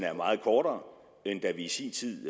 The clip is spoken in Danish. er meget kortere end da vi i sin tid